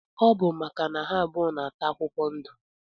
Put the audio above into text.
Ọbu maka na ha abụọ na ata akwụkwọ ndu.